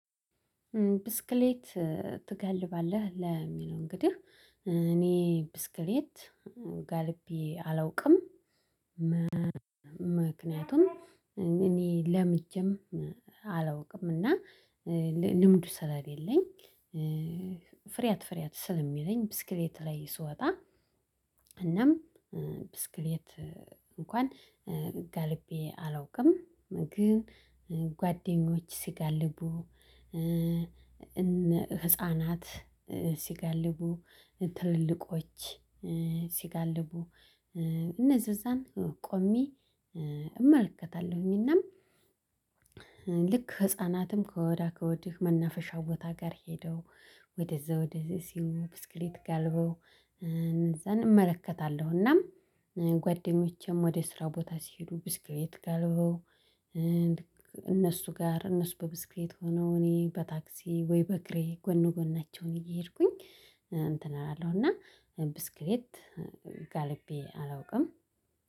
ብስክሌት ትገልባለህ ለሚለው እንግዲህ እኔ ብስክሌት ጋልቤ አላውቅም። ምክንያቱም እኔ ለምጄም አላውቅም እና ልምዱ ስለሌለኝ ፍሪያት ፍሪያት ስለሚለኝ ብስክሌት ላይ ስወጣ እናም ብስክሌት እንኳን ጋልቤ አላውቅም። ግን ጓደኞች ሲጋልቡ እነ ህፃናት ሲጋልቡ ትልልቆች ሲጋልቡ እነዚህ እዛን ቆሜ እመልከታለሁኝ። እናም ልክ ህፃናትም ከወዳ ከወድህ መናፈሻው ቦታ ጋር ሄደው ወደዛ ወደዛ ሲሆን ብስክሌት ጋልበው እዛን እመለከታለሁ። እናም ጓደኞቼም ወደ ስራ ቦታ ሲሉ ብስክሌት ጋልበው። እነሱ ጋር እነሱ በብስክሌት ሆነው እኔ በታክሲ ወይ በእግሬ ጎኑ ጎናቸውን እየሄድኩኝ እንትን አላለሁና ብስክሌት ጋልቤ አላውቅም